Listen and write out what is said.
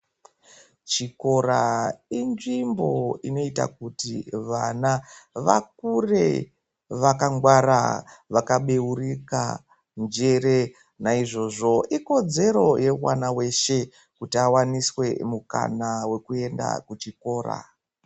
Chikora inzvimbo inoita kuti vana, vakure vakangwara, vakabeurika njere. Naizvozvo ikodzero yemwana weshe kuti akwanise mukana wokuenda kuchikora.